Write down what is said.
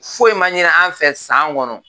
Foyi ma ɲini an fɛ san kɔnɔ